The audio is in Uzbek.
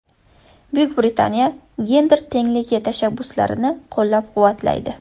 Buyuk Britaniya gender tengligi tashabbuslarini qo‘llab-quvvatlaydi.